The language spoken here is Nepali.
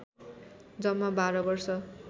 जम्मा १२ वर्ष